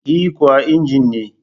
E kuwa, injin ne